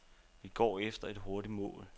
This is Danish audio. Vi går efter et hurtigt mål.